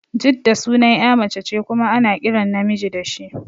Jidda sunan ƴa mace ce kuma ana kiran namiji da shi